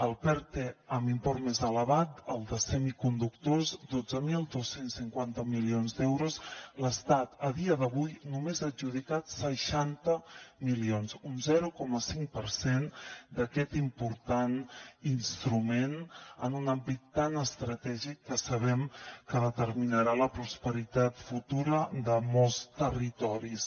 el perte amb import més elevat el de semiconductors dotze mil dos cents i cinquanta milions d’euros l’estat a dia d’avui només ha adjudicat seixanta milions un zero coma cinc per cent d’aquest important instrument en un àmbit tan estratègic que sabem que determinarà la prosperitat futura de molts territoris